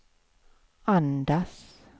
andas